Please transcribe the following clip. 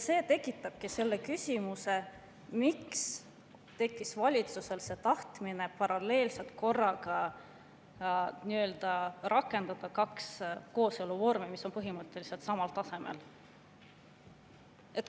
See tekitabki küsimuse, miks tekkis valitsusel tahtmine paralleelselt korraga nii-öelda rakendada kahte kooseluvormi, mis on põhimõtteliselt samal tasemel.